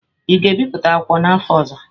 Ị ga-ebipụta akwụkwọ a n'afọ ọzọ?